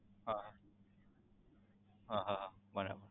online થી હા હા હા બરાબર